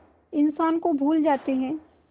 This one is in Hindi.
इंसान को भूल जाते हैं